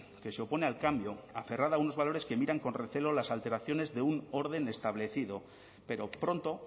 que se opone al cambio aferrada a unos valores que miran con recelo las alteraciones de un orden establecido pero pronto